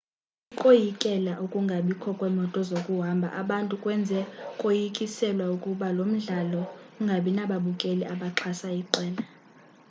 ukoyikela ukungabikho kwemoto zokuhamba abantu kwenze koyikiselwa ukuba lo mdlalo ungangabinababukeli abaxhasa iqela